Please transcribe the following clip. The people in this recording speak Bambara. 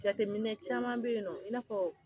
Jateminɛ caman bɛ yen nɔ i n'a fɔ